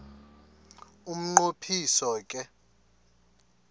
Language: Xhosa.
umnqo phiso ke